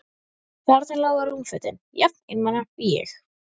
Þarna lágu rúmfötin, jafn einmana og ég.